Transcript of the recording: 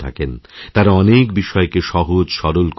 তাঁরা অনেকবিষয়কে সহজসরল করে দেন